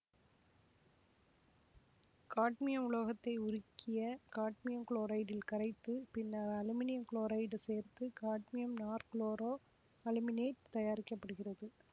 cadmium உலோகத்தை உருகிய cadmium குளோரைடில் கரைத்து பின்னர் அலுமினியம் குளோரைடு சேர்த்து காட்மியம் நாற்குளோரோ அலுமினேட்டு தயாரிக்க படுகிறது